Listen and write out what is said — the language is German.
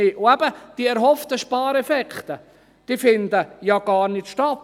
Und eben: Die erhofften Spareffekte finden ja gar nicht statt.